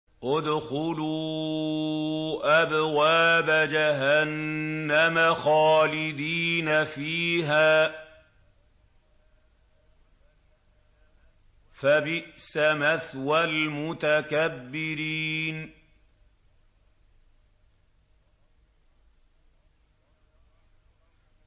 ادْخُلُوا أَبْوَابَ جَهَنَّمَ خَالِدِينَ فِيهَا ۖ فَبِئْسَ مَثْوَى الْمُتَكَبِّرِينَ